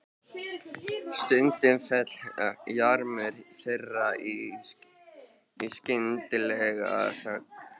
Stundum féll jarmur þeirra í skyndilega þögn.